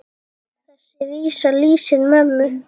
Þessi vísa lýsir mömmu.